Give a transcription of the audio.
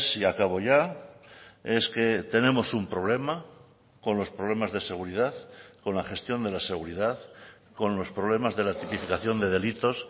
y acabo ya es que tenemos un problema con los problemas de seguridad con la gestión de la seguridad con los problemas de la tipificación de delitos